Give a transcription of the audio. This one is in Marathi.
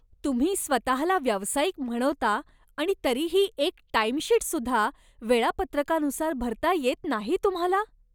तुम्ही स्वतःला व्यावसायिक म्हणवता आणि तरीही एक टाइमशीटसुद्धा वेळापत्रकानुसार भरता येत नाही तुम्हाला.